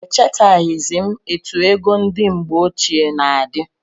Echetaghizi m etụ égo ndị mgbe ochie na-adi